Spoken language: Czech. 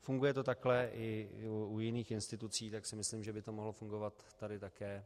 Funguje to takhle i u jiných institucí, tak si myslím, že by to mohlo fungovat tady také